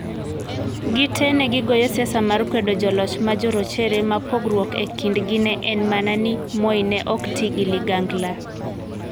Gitee ne gigoyo siasa mar kwedo joloch ma jorochere ma pogruok e kindgi ne en mana ni Moi ne ok ti gi ligangla.